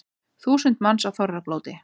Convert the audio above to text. Þúsund manns á þorrablóti